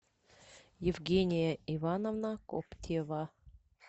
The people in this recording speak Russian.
евгения ивановна коптева